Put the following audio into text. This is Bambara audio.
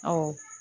Ɔ